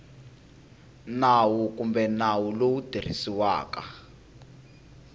nawu kumbe nawu lowu tirhisiwaka